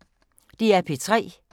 DR P3